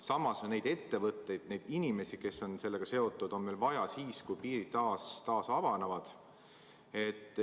Samas, neid ettevõtteid, neid inimesi, kes on sellega seotud, on meil vaja siis, kui piirid taas avanevad.